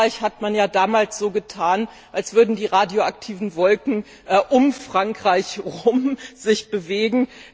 In Frankreich hat man ja damals so getan, als würden sich die radioaktiven Wolken um Frankreich herum bewegen.